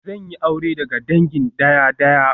Zan yi aure daga dangin daya-daya